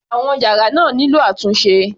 Àwọn yàrá náà nílò àtúnṣe.